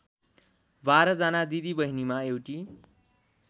बाह्रजना दिदीबहिनीमा एउटी